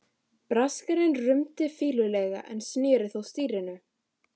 Braskarinn rumdi fýlulega en sneri þó stýrinu.